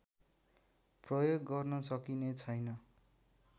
प्रयोग गर्न सकिने छैन